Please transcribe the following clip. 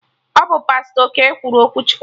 Ọ bụ Pastọ Okey kwuru okwu Chukwu